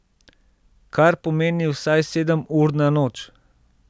Kar pomeni vsaj sedem ur na noč.